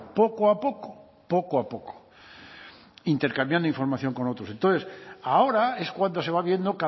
poco a poco poco a poco intercambiando información con otros entonces ahora es cuando se va viendo